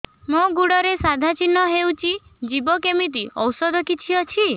ମୋ ଗୁଡ଼ରେ ସାଧା ଚିହ୍ନ ହେଇଚି ଯିବ କେମିତି ଔଷଧ କିଛି ଅଛି